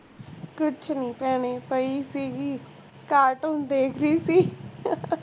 ਕੁੱਛ ਨੀ ਭੈਣੇ ਪਈ ਸੀਗੀ cartoon ਦੇਖ ਰਹੀ ਸੀ